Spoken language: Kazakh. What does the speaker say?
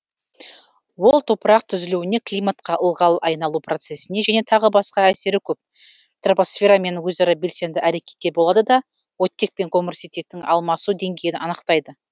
ол топырақ түзілуіне климатқа ылғал айналу процесіне және тағы басқа әсері көп тропосферамен өзара белсенді әрекетте болады да оттек пен көміртетектің алмасу деңгейін анықтайды